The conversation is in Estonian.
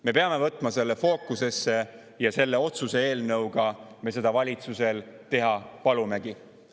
Me peame võtma selle fookusesse ja selle otsuse eelnõuga me seda valitsusel teha palumegi.